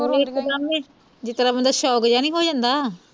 ਉਹ ਇਕ ਦਮ ਹੀ ਜਿਸ ਤਰ੍ਹਾਂ ਬੰਦਾ shock ਜਾ ਹੀ ਹੋ ਜਾਂਦਾ